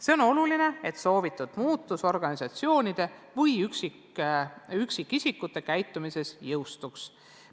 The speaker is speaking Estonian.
See on oluline, et soovitud muutus organisatsioonide ja üksikisikute käitumises teostuks.